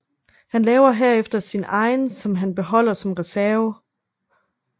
Han laver herefter sin egen som han beholder som reserve